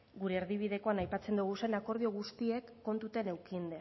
gure erdibidekoan aipatzen ditugun akordio guztiak kontutan edukita